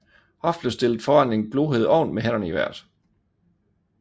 Hoff blev stillet foran en glohed ovn med hænderne i vejret